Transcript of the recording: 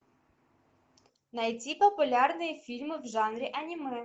найти популярные фильмы в жанре аниме